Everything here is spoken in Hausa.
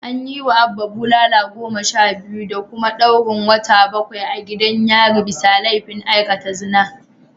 An yiwa Abba bulala goma sha biyu da kuma daurin wata bakwai a gidan yari bisa laifin aikata zina